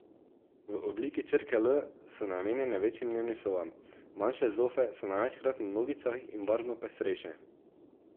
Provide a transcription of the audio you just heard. V obliki črke L so namenjene večjim dnevnim sobam, manjše zofe so največkrat na nogicah in barvno pestrejše.